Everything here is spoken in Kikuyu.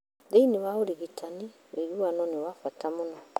Thĩinĩ wa ũrigitani, ũiguano nĩ wa bata mũno.